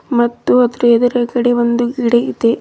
ಮತ್ತು ಅದರ ಎದುರುಗಡೆ ಒಂದು ಗಿಡ ಇದೆ.